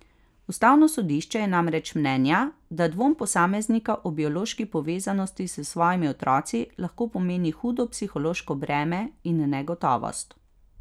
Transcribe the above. Ustavno sodišče je namreč mnenja, da dvom posameznika o biološki povezanosti s svojimi otroci lahko pomeni hudo psihološko breme in negotovost.